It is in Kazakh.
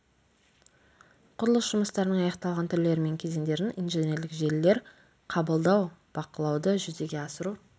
құрылыс жұмыстарының аяқталған түрлері мен кезеңдерін инженерлік желілер қабылдау бақылауды жүзеге асыру